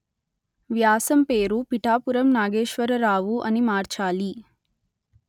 వ్యాసం పేరు పిఠాపురం నాగేశ్వరరావు అని మార్చాలి